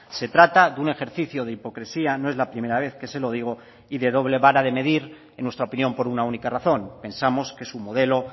se trata de un ejercicio de hipocresía no es la primera vez que se lo digo y de doble vara de medir en nuestra opinión por una única razón pensamos que su modelo